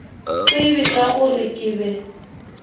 tsebe ka gore ke be